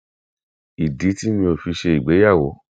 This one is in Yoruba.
ìdí tí mi ò fi ṣe ìgbéyàwó